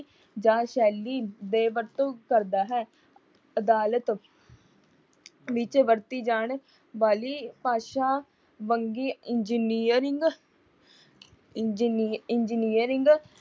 ਜਾਂ ਸੈਲੀ ਦੇ ਵਰਤੋਂ ਕਰਦਾ ਹੈ। ਅਦਾਲਤ ਵਿੱਚ ਵਰਤੀ ਜਾਣ ਵਾਲੀ ਭਾਸ਼ਾ ਵੰਨਗੀ ਇੰਜੀਨੀਅਰਿੰਗ